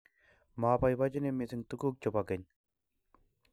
maboiboichini mising' tuguk chebo keny